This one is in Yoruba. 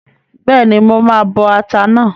Bẹ́ẹ̀ni, mo máa bọ ata náà